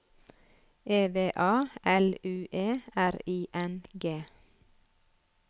E V A L U E R I N G